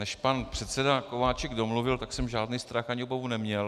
Než pan předseda Kováčik domluvil, tak jsem žádný strach ani obavu neměl.